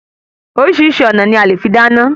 Orísìírísìí ọ̀nà ni a lè fi dáná